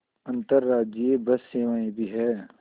अंतर्राज्यीय बस सेवाएँ भी हैं